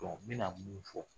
n bi na mun fɔ